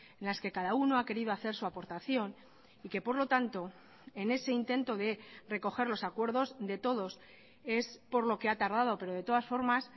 en las que cada uno a querido hacer su aportación y que por lo tanto en ese intento de recoger los acuerdos de todos es por lo que ha tardado pero de todas formas